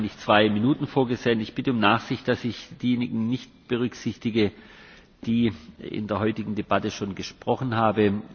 Wir haben eigentlich zwei Minuten vorgesehen. Ich bitte um Nachsicht, dass ich diejenigen nicht berücksichtige, die in der heutigen Debatte schon gesprochen haben.